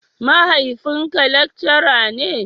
Mahaifin ka lekcara ne?